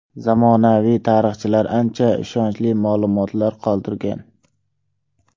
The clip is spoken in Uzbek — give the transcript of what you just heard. Zamonaviy tarixchilar ancha ishonarli ma’lumotlar qoldirgan.